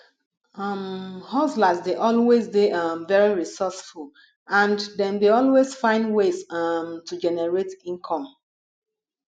um hustlers dey always dey um very resourceful and dem dey always find ways um to generate income